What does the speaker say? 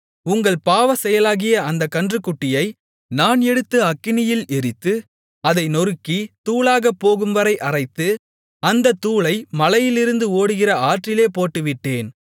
உங்கள் பாவச்செயலாகிய அந்தக் கன்றுக்குட்டியை நான் எடுத்து அக்கினியில் எரித்து அதை நொறுக்கி தூளாகப் போகும்வரை அரைத்து அந்தத் தூளை மலையிலிருந்து ஓடுகிற ஆற்றிலே போட்டுவிட்டேன்